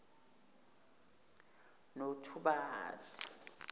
nothubali